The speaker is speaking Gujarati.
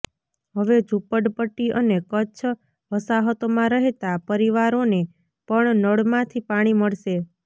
હવે ઝૂંપડપટ્ટી અને કચ્છ વસાહતોમાં રહેતા પરિવારોને પણ નળમાંથી પાણી મળશે